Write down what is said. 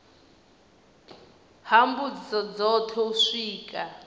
ha mbudziso dzothe u swika